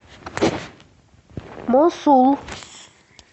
мосул